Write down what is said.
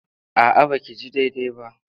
A'a ba ki ji daidai ba.